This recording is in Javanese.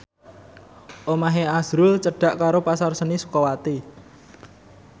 omahe azrul cedhak karo Pasar Seni Sukawati